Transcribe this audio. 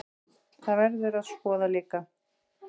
Það verður að skoða líka.